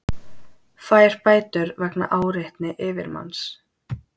Fær bætur vegna áreitni yfirmanns